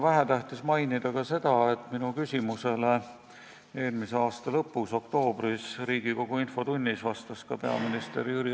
Vähetähtis pole mainida ka seda, mida vastas peaminister Jüri Ratas eelmise aasta lõpus, oktoobris, Riigikogu infotunnis minu küsimusele.